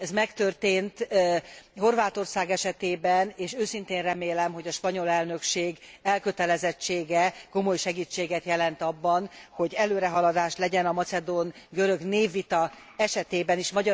Ez megtörtént Horvátország esetében, és őszintén remélem, hogy a spanyol elnökség elkötelezettsége komoly segítséget jelent abban, hogy előrehaladás legyen a macedón görög névvita esetében is.